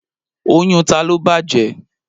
Oyún ta ló bàjẹ́?